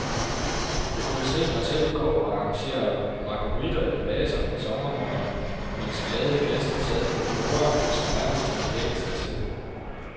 Jeg kunne se mig selv gå og arrangere marguritter i vaser en sommermorgen, mens glade gæster sad ved borde, som nærmest havde dækket sig selv.